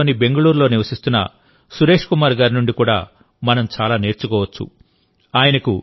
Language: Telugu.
కర్ణాటకలోని బెంగుళూరులో నివసిస్తున్న సురేష్ కుమార్ గారి నుండి కూడా మనం చాలా నేర్చుకోవచ్చు